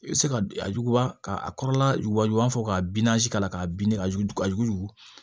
I bɛ se ka a juguya ka a kɔrɔla wuguba fɔ ka k'a la k'a ɲini ka yuguyugu